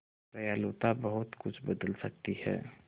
दयालुता बहुत कुछ बदल सकती है